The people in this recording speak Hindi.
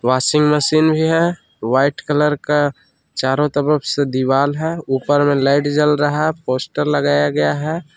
वाशिंग मशीन भी है व्हाइट कलर का चारों तरफ से दीवाल है ऊपर में लाइट जल रहा है पोस्टर लगाया गया है।